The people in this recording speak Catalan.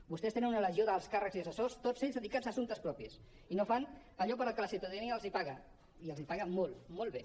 vostès tenen una legió d’alts càrrecs i assessors tots ells dedicats a assumptes propis i no fan allò per al qual la ciutadania els paga i els paga molt molt bé